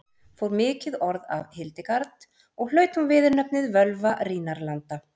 fór mikið orð af hildegard og hlaut hún viðurnefnið völva rínarlanda